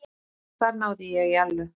Þar náði ég Ellu.